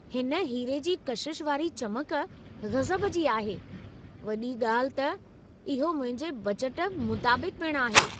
हिन हीरे जी कशिश वारी चमक गज़ब जी आहे! वॾी ॻाल्हि त, इहो मुंहिंजे बजट मुताबिक़ पिणु आहे।